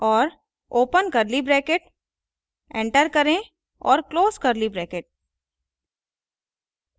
और open curly bracket enter करें और close curly bracket